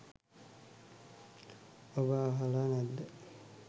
ඔබ අහල නැද්ද.